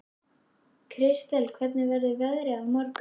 Kristel, hvernig verður veðrið á morgun?